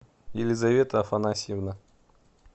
елизавета афанасьевна